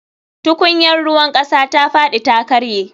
Tukunyar ruwan kasa ta fadi ta karye